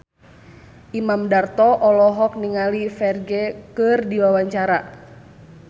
Imam Darto olohok ningali Ferdge keur diwawancara